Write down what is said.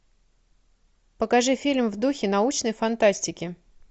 покажи фильм в духе научной фантастики